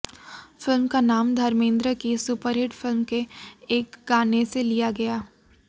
film का नाम धर्मेंद्र की सुपरहिट फिल्म के एक गाने से लिया गया